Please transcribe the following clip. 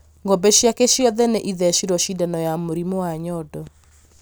Ng'ombe ciake ciothe nĩ ĩthecĩrwo cĩndano ya mũrimũ wa nyondo